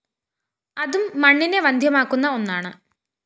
അതും മണ്ണിനെ വന്ധ്യമാക്കുന്ന ഒന്നാണ്